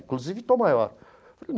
Inclusive, Tom Maior..